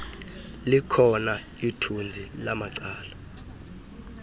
likhona ithinzi lamacala